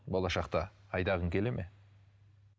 болашақта айдағың келе ме